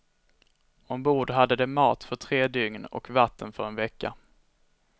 Ombord hade de mat för tre dygn och vatten för en vecka.